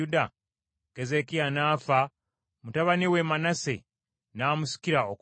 Keezeekiya n’afa, mutabani we Manase n’amusikira okuba kabaka.